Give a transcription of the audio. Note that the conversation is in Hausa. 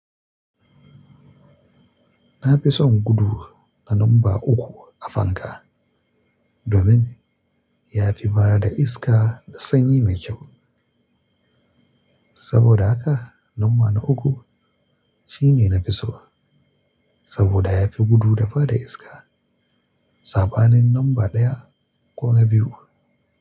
Na fi son gudu na lamba uku a fanka domin ya fi ba da iska da sanyi mai kyau. Saboda haka lamba na uku shine nafi so saboda ya fi gudu da ba da iska saɓanin lamba ɗaya ko na biyu.